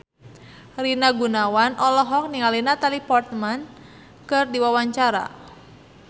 Rina Gunawan olohok ningali Natalie Portman keur diwawancara